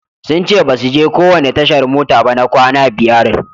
Sun ce basu je kowanne tashar mota ba na kwana biyar.